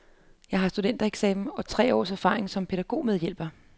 Jeg har studentereksamen og tre års erfaring som pædagogmedhjælper.